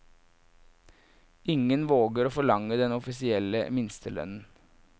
Ingen våger å forlange den offisielle minstelønnen.